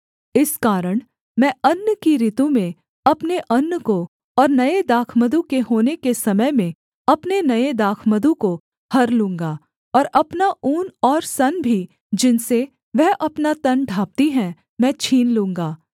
इस कारण मैं अन्न की ऋतु में अपने अन्न को और नये दाखमधु के होने के समय में अपने नये दाखमधु को हर लूँगा और अपना ऊन और सन भी जिनसे वह अपना तन ढाँपती है मैं छीन लूँगा